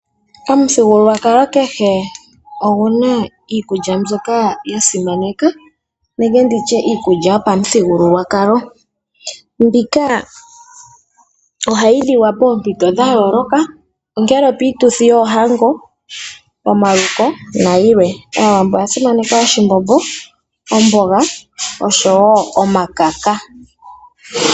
Omuthigululwakalo kehe ogu na iikulya mbyoka ya simaneka nenge ndi tye iikulya yopamuthigululwakalo . Mbika ohayi liwa poompito dhayooloka, ongele opiituthi yoohango, pomaluko nayilwe. Aawambo oya simaneka oshimbombo, omboga oshowoo omakaka.